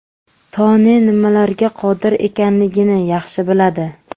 Toni nimalarga qodir ekanligini yaxshi biladi.